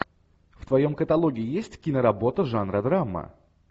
в твоем каталоге есть киноработа жанра драма